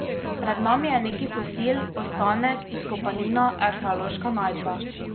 Pred nami je neki fosil, ostanek, izkopanina, arheološka najdba.